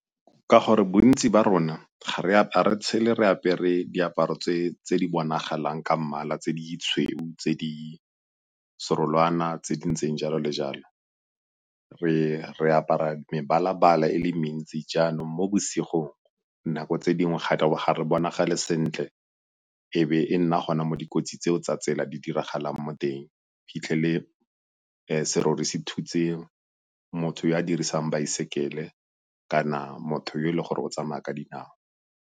Ka gore bontsi ba rona ga re tshele re apere diaparo tse di bonagalang ka mmala tse ditshweu, tse di serolwana tse di ntseng jalo le jalo. Re apara mebala-bala e le mentsi, jaanong mo bosigong nako tse dingwe ga re bonagale sentle e be e nna gone mo dikotsi tseo tsa tsela di diragalang mo teng. O fitlhele serori se thutse motho yo a dirisang baesekele kana motho yo e leng gore o tsamaya ka dinao.